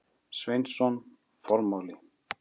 Sveinsson: Formáli.